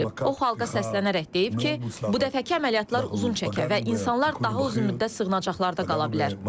O xalqa səslənərək deyib ki, bu dəfəki əməliyyatlar uzun çəkər və insanlar daha uzun müddət sığınacaqlarda qala bilər.